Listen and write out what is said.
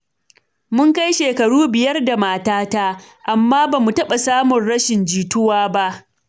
Mun kai shekaru biyar da matata, amma ba mu taɓa samun rashin jituwa ba.